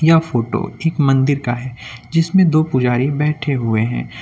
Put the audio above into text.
यह फोटो एक मंदिर का है जिसमें दो पुजारी बैठे हुए है।